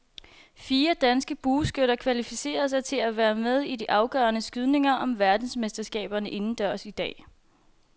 Fire danske bueskytter kvalificerede sig til at være med i de afgørende skydninger om verdensmesterskaberne indendørs i dag.